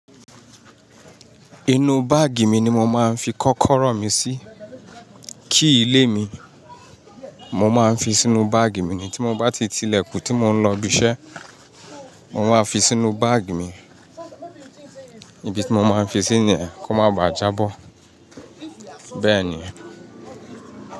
Inú báàgì mi ni mo máa ńfi kọ́kọ́rọ́ mi sí key ilé mi, mo máa ń fi sínú báàgì mi ni tí mo bá ti ti ilẹ̀kùn tí mo ń lọ ibiṣẹ́, mo máa fi sínú báàgì mi. Ibi tí mo máa ń fi sí nìyẹn kó má ba à jábọ̀. Bẹ́ẹ̀ ni.